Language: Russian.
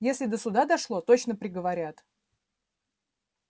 если до суда дошло точно приговорят